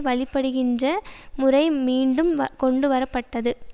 வழிபடுகின்ற முறை மீண்டும் கொண்டு வரப்பட்டது